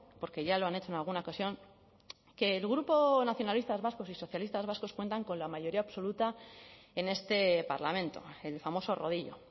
porque ya lo han hecho en alguna ocasión que el grupo nacionalistas vascos y socialistas vascos cuentan con la mayoría absoluta en este parlamento el famoso rodillo